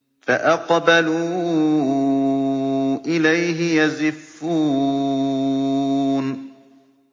فَأَقْبَلُوا إِلَيْهِ يَزِفُّونَ